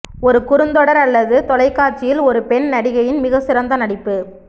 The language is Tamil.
ஒரு குறுந்தொடர் அல்லது தொலைக்காட்சியில் ஒரு பெண் நடிகையின் மிகச்சிறந்த நடிப்பு